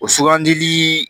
O sugandili